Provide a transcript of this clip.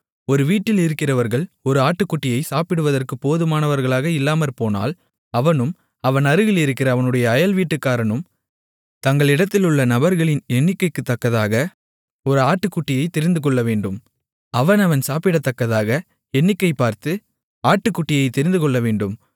ஒரு வீட்டில் இருக்கிறவர்கள் ஒரு ஆட்டுக்குட்டியைப் சாப்பிடுவதற்குப் போதுமானவர்களாக இல்லாமற்போனால் அவனும் அவன் அருகிலிருக்கிற அவனுடைய அயல்வீட்டுக்காரனும் தங்களிடத்திலுள்ள நபர்களின் எண்ணிக்கைக்குத்தக்கதாக ஒரு ஆட்டுக்குட்டியைத் தெரிந்துகொள்ளவேண்டும் அவனவன் சாப்பிடத்தக்கதாக எண்ணிக்கைபார்த்து ஆட்டுக்குட்டியைத் தெரிந்துகொள்ளவேண்டும்